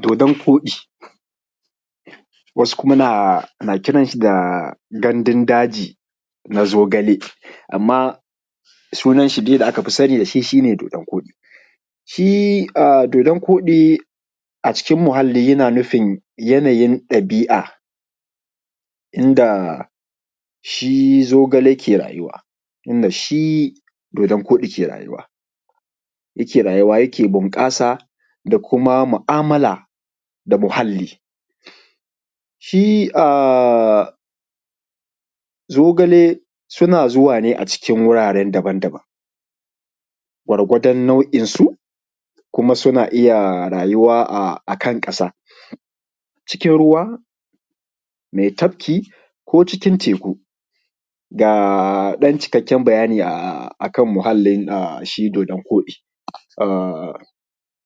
Dodon koɗi wasu kuma na kiran shi da gandun daji na zogale amma sunan shi da aka fi sani da shi shi ne dodon koɗi, shi dodon koɗi a cikin muhalli yana nufin yanayin ɗabi’a inda a shi zogale ke rayuwa. In da shi dodon koɗi ke rayuwa yake bunƙasa da kuma mu’amala da muhalli, shi zogale suna zuwa ne a cikin wurare daban-daban gwargwadon na’uinsu kuma suna iya rayuwa akansa ciikin ruwa me tafki ko cikin teku. Ga cikakken bayani akan muhalli shi dodon koɗi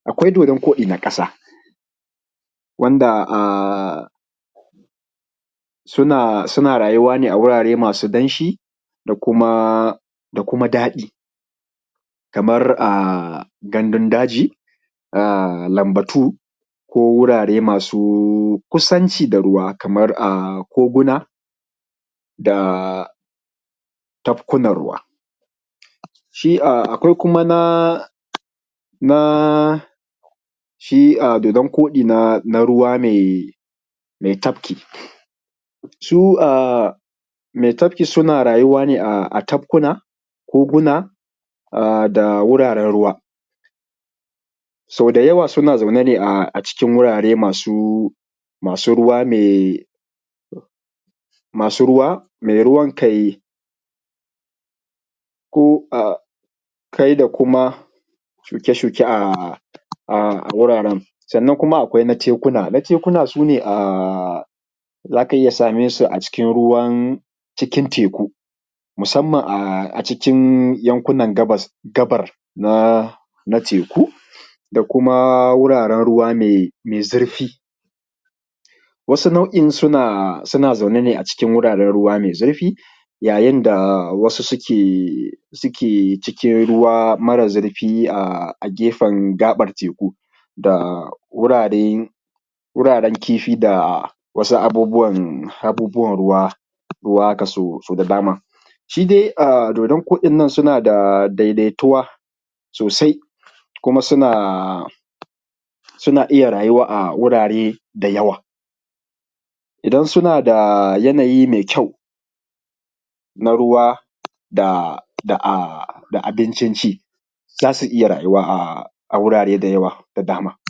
akwai dodon koɗi na ƙasa wanda a suna rayuwa ne a wurare masu danshi da daɗi kamar a gandun daji namba tu ko wurare masu kusanci da ruwa, kamar koguna, a tafkuna ruwa shi akwai kuma na shi dodon koɗi na ruwa mai tafki su mai tafki, suna rayuwa ne a tafki, koguna da wuraren ruwa so da yawa suna zaune ne a cikn wurare masu ruwa mai ruwan kai ko kai da kuma shuke-shuke a wuraren, sannan kuma akwai na tekuna na tekuna su ne a wuraren za ka ga iya same su a cikin ruwan cikin teku musamman a cikin yankunan gabas na teku da kuma wuraren ruwa mai zurfi. Wasu na’u’in suna zaune ne a wuraren ruwa mai zurfi yayin da wasu suke cikin ruwa mara zurfi a gefen gaɓar teku da wuraren kifi da wasu abubuwan. Abubuwan ruwa haka so da dama shi dai dodon koɗin nan suna da daidaituwa sosai kuma suna iya rayuwa a wurare da yawa idan suna da yanayi mai kyau na ruwa da abincin ci za su iya rayuwa a wurare da yawa da dama.